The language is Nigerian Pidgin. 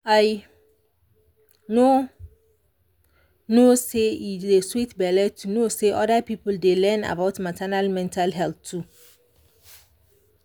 i no no say e dey sweet belle to know say other people dey learn about maternal mental health too.